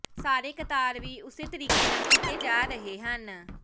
ਸਾਰੇ ਕਤਾਰ ਵੀ ਉਸੇ ਤਰੀਕੇ ਨਾਲ ਕੀਤੇ ਜਾ ਰਹੇ ਹਨ